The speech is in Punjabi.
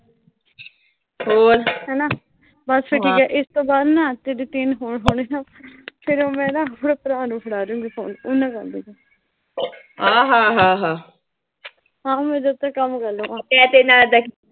ਹਨਾ, ਬਸ ਠੀਕ ਆ। ਇਸ ਤੋਂ ਬਾਅਦ ਨਾ ਤੁਸੀਂ ਫਿਰ ਮੈਂ ਨਾ, ਭਰਾ ਨੂੰ ਫੜਾ ਦੂੰਗੀ ਫੋਨ, ਉਹਦੇ ਨਾਲ ਕਰ ਲਈਂ ਤੂੰ। ਹਾਂ, ਮੈਂ ਜਦ ਤੱਕ ਕੰਮ ਕਰਲੂਂਗੀ